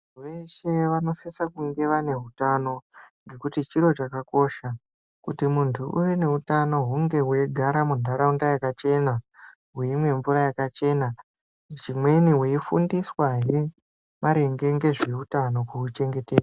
Veshe vanosisa kunge vane hutano nekuti chiro chakakosha. Kuti muntu uve neutano hunge weigara munharaunda yakachena, weimwa mvura yakachena. Zvimweni weifundiswa hee maringe ngezveutano kuuchengetedza.